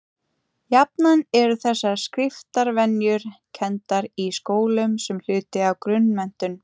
jafnan eru þessar skriftarvenjur kenndar í skólum sem hluti af grunnmenntun